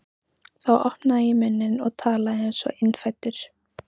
Þá opnaði ég munninn og talaði einsog innfæddur